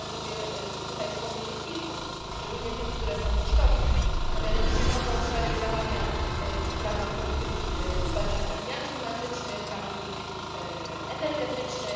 Pozwolę sobie tutaj wspomnieć o kilku, szczególnie o tych, które są kosztowne, a mianowicie nowe obszary działania w ramach polityki zwalczania zmian klimatycznych, w ramach polityki energetycznej